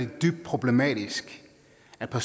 at